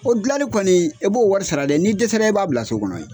O gilanli kɔni e b'o wari sara dɛ ni dɛsɛ la e b'a bila so kɔnɔ yen